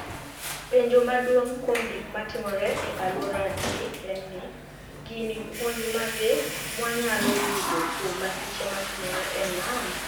Penijo maduonig ' kuom gik matimore e alworagi eni nii, gini puonij mage mwaniyalo yudo kuom masiche matimore e niam?